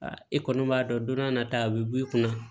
e kɔni b'a dɔn don dɔ nata a bɛ b'i kunna